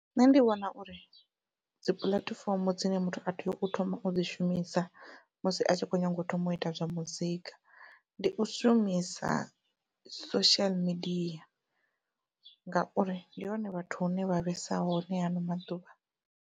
Nṋe ndi vhona uri dzi puḽatifomo dzine muthu a tea u thoma u dzi shumisa musi a tshi kho nyaga u thoma u ita zwa muzika ndi u shumisa social media ngauri ndi hone vhathu hune vha vhesa hone haano maḓuvha.